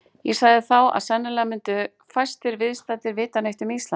Ég sagði þá, að sennilega myndu fæstir viðstaddir vita neitt um Ísland.